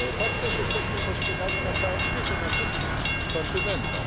Tak też jesteśmy postrzegani na całym świecie, na wszystkich kontynentach.